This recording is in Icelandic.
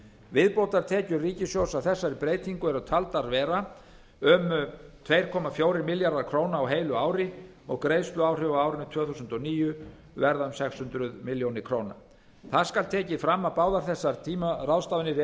viðbótartekjur ríkissjóðs af þessari breytingu eru taldar vera um tvö komma fjórir milljarðar á heilu ári greiðsluáhrif á árinu tvö þúsund og níu verða sex hundruð milljóna króna það skal tekið fram að báðar þessar tímaráðstafanir